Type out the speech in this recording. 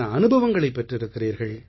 அனுபவங்களைப் பெற்றிருக்கிறீர்கள்